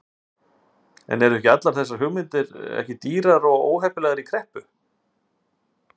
En eru ekki allar þessar hugmyndir ekki dýrar og óheppilegar í kreppu?